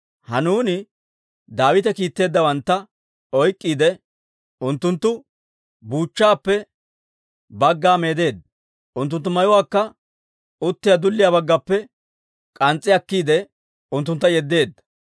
Hanuuni Daawite kiitteeddawantta oyk'k'iide, unttunttu buuchchaappe bagga meedeedda; unttunttu mayuwaakka uttiyaa dulliyaa baggappe k'ans's'i akkiide, unttuntta yeddeedda.